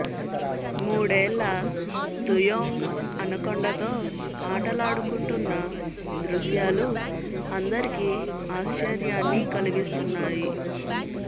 మూడేళ్ళ Tuyong anaconda తో ఆటలాడుకుంటున్న దృశ్యాలు అందరికి ఆశ్చర్యాన్ని కలిగిస్తున్నాయి